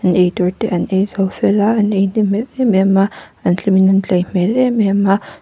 eitur te an eizo fel a an ei hnem hmel emem a an hlim in an tlei hmel emem a--